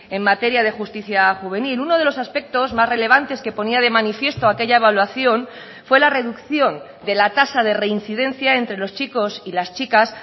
en materia de justicia juvenil uno de los aspectos más relevantes que ponía de manifiesto aquella evaluación fue la reducción de la tasa de reincidencia entre los chicos y las chicas